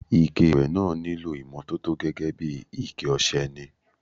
Ike ìwẹ̀ náà nílò ìmọ́tótó gẹ́gẹ́ bí iké ọṣẹ ni.